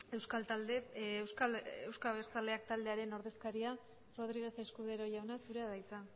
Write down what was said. euzko abertzaleak taldearen ordezkaria ramírez escudero jauna zurea da hitza